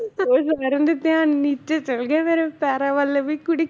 ਤੇ ਸਾਰਿਆਂ ਦੇ ਧਿਆਨ ਨੀਚੇ ਚਲੇ ਗਿਆ ਮੇਰੇ ਪੈਰਾਂ ਵੱਲ ਵੀ ਕੁੜੀ